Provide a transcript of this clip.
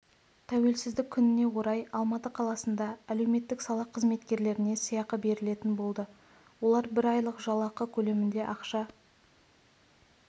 тәуелсіздік күніне орай алматы қаласында әлеуметтік сала қызметкерлеріне сыйақы берілетін болды оларға бір айлық жалақы көлемінде ақша